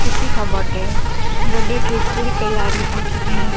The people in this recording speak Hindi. किसी का बर्थडे बर्थडे की पूरी तैयारी हो चुकी है।